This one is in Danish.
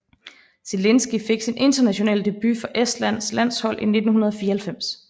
Zelinski fik sin internationale debut for Estlands landshold i 1994